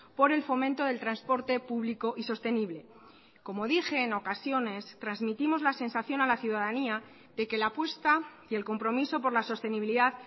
por el fomento del transporte público y sostenible como dije en ocasiones transmitimos la sensación a la ciudadanía de que la apuesta y el compromiso por la sostenibilidad